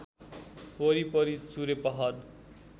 वरिपरि चुरे पहाड